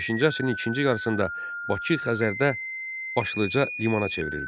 15-ci əsrin ikinci yarısında Bakı Xəzərdə başlıca limana çevrildi.